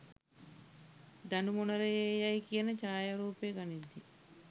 දඩුමොනරයේ යැයි කියන ඡායරූපය ගනිද්දී